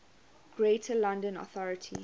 greater london authority